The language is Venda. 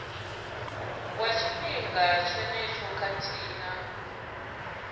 wa tshifhinga tshenetsho khathihi na